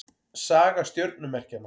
Saga stjörnumerkjanna.